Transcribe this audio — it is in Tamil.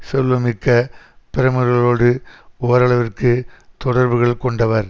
செல்வமிக்க பிரமுகர்களோடு ஓரளவிற்கு தொடர்புகள் கொண்டவர்